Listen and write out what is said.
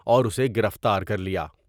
اور اسے گرفتار کرلیا ۔